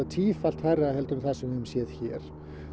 tífalt hærra en það sem við höfum séð hér